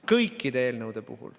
Kõikide eelnõude puhul.